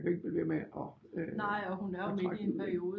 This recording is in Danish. Man kan jo ikke blive ved med at øh at trække den vel